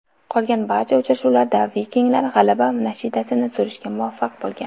Qolgan barcha uchrashuvlarda vikinglar g‘alaba nashidasini surishga muvaffaq bo‘lgan.